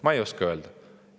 Ma ei oska öelda.